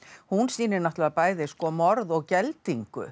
hún sýnir náttúrulega bæði morð og geldingu